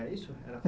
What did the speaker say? É isso a?